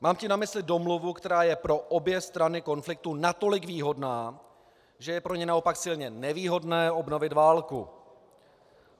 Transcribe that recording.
Mám tím na mysli domluvu, která je pro obě strany konfliktu natolik výhodná, že je pro ně naopak silně nevýhodné obnovit válku.